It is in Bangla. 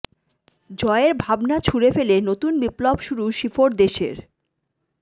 জয়ের ভাবনা ছুড়ে ফেলে নতুন বিপ্লব শুরু শিফোর দেশের